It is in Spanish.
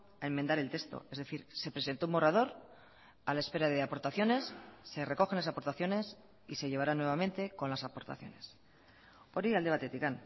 a enmendar el texto es decir se presentó un borrador a la espera de aportaciones se recogen las aportaciones y se llevará nuevamente con las aportaciones hori alde batetik